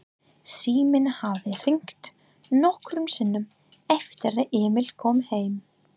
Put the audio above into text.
Síminn hafði hringt nokkrum sinnum eftir að Emil kom heim.